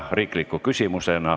Palun!